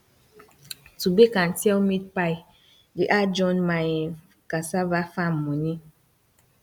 to bake and sell meat pie dey add join my um cassava farm money